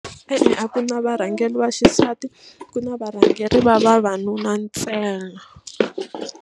E-e a ku na varhangeri va xisati ku na varhangeri va vavanuna ntsena.